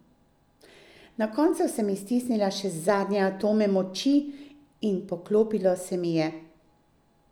Na koncu sem iztisnila še zadnje atome moči in poklopilo se mi je!